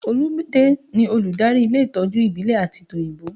Olumide ni olùdarí ilé ìtọ́jú ìbílẹ̀ àti tòyìnbó